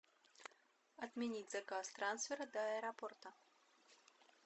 отменить заказ трансфера до аэропорта